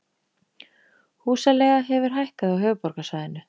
Húsaleiga hefur hækkað á höfuðborgarsvæðinu